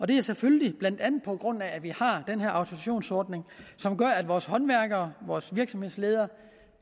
det er selvfølgelig blandt andet på grund af at vi har den her autorisationsordning at vores håndværkere vores virksomhedsledere